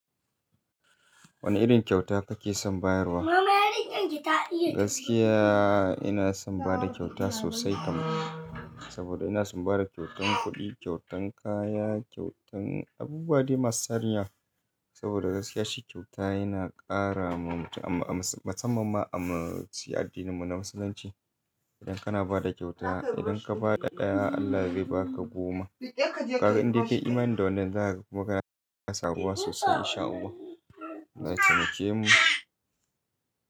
Wane irin kyauta kake son bayarwa? Gaskiya ina son bada kyauta sosai kamin, saboda ina son bada kyautan kuɗi, kyautan kaya, kyautan abubuwa dai masu tarinyawa saboda gaskiya shi kyauta yana ƙara wa mutum musamman ma a muci addininmu na Musulunci. Idan kana bada kyauta, idan ka ba da ɗaya Allah zai ba ka goma. Kaga inda ka yi imani da wannan za ka kuma kana karuwa sosai insha Allahu. Allah ya taimake mu.